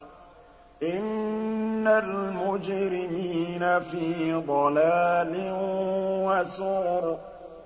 إِنَّ الْمُجْرِمِينَ فِي ضَلَالٍ وَسُعُرٍ